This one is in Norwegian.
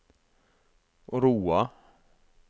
Roa